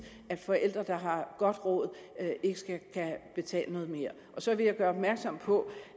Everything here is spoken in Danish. at forældre der har godt råd skal betale noget mere så vil jeg gøre opmærksom på